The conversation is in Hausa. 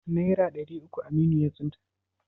Nera ɗari uku Aminu ya tsinta?